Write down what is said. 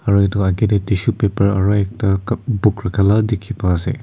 aru etu agae tae tissue paper aru ekta cup book rakha la dekhi paiase.